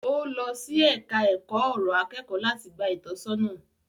Ọ́ lọ sí ẹka ọ̀rọ̀ akẹ́kọ̀ọ́ láti gba ìtọ́sọ́nà.